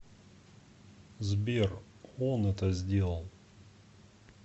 сбер он это сделал